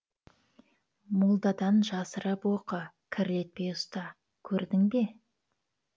молдадан жасырып оқы кірлетпей ұста көрдің бе